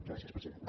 gràcies president